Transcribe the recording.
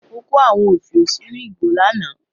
Mo kó àwọn òfiò sínú ìgò lánàá.